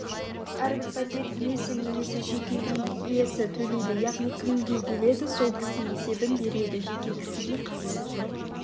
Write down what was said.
әрбір пәтер иесі немесе жеке үй иесі төлейді яғни кімге келеді сол кісі есебін береді жеке кісіге қатысы жоқ